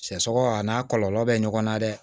Sɛ sɔgɔ a n'a kɔlɔlɔ bɛ ɲɔgɔn na dɛ